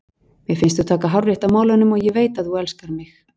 Mér finnst þú taka hárrétt á málunum og ég veit að þú elskar mig.